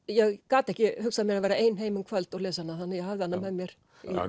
ég gat ekki hugsað mér að vera ein heima um kvöld og lesa hana þannig að ég hafði hana með mér